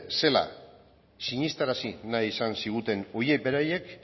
zela sinestarazi nahi izan ziguten horiek beraiek